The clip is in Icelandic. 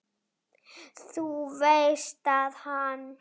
Þú veist að hann.